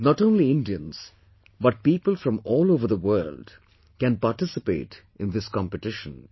Not only Indians, but people from all over the world can participate in this competition